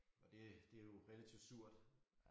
Og det det jo relativt surt